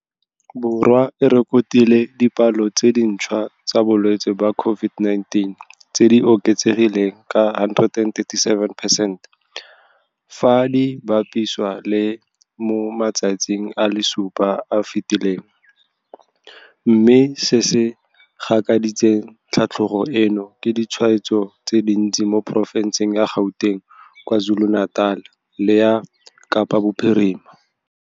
Borwa e rekotile dipalo tse dintšhwa tsa balwetse ba COVID-19 tse di oketsegileng ka 137percent, fa di bapisiwa le mo matsatsing a le supa a a fetileng, mme se se gakaditseng tlhatlogo eno ke ditshwaetso tse dintsi mo porofenseng ya Gauteng, KwaZulu-Natal le ya Kapa Bophirima.